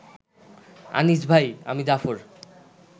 আনিস ভাই, আমি জাফর